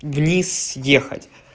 вниз ехать